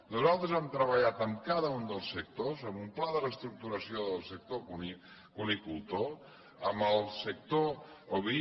nosaltres hem treballat amb cada un dels sectors amb un pla de reestructuració del sector cunicultor amb el sector oví